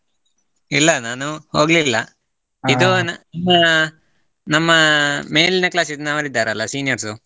ಇಲ್ಲ ನಾನು ಹೋಗ್ಲಿಲ್ಲ, ನಮ್ಮಾ ನಮ್ಮ ಮೇಲಿನ class ದ್ ನವರು ಇದ್ದಾರಲ್ಲ seniors .